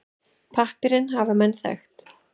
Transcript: Pappírinn hafa menn þekkt.